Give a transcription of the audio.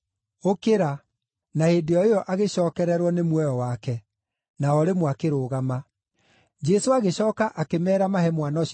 Na hĩndĩ o ĩyo agĩcookererwo nĩ muoyo wake, na o rĩmwe akĩrũgama. Jesũ agĩcooka akĩmeera mahe mwana ũcio kĩndũ gĩa kũrĩa.